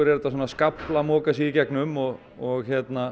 er svona skafl að moka sig í gegnum og og